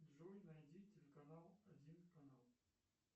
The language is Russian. джой найди телеканал один канал